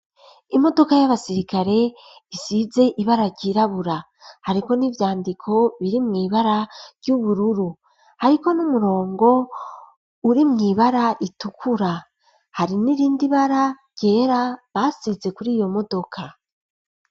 Imodoka y'abasirikare isize ibara ryirabura ariko n'ivyandiko biri mw'ibara ry'ubururu hariko n'umurongo uri mw'ibara ritukura hari n'irindi bara ryera basize kuri iyo modoka.